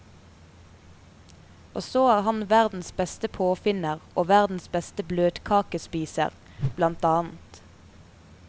Og så er han verdens beste påfinner og verdens beste bløtkakespiser, blant annet.